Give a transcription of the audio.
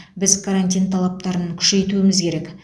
біз карантин талаптарын күшейтуіміз керек